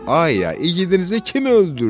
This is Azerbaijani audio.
Ay ay, igidənizi kim öldürdü?